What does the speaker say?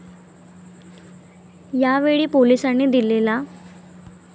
यावेळी, पोलिसांनी दिलेला.